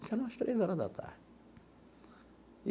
Isso era umas três horas da tarde.